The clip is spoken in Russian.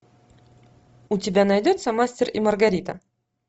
у тебя найдется мастер и маргарита